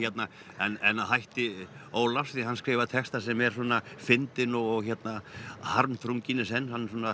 en að hætti Ólafs því hann skrifar texta sem er fyndinn og harmþrunginn í senn